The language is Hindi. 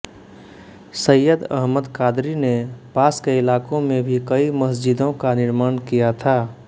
सय्यद अहमद क़ादरी ने पास के इलाकों में भी कई मस्जिदों का निर्माण किया था